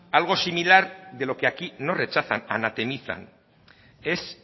algo similar de lo que aquí no rechazan anatemizan es